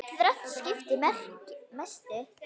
Þrennt skipti mestu.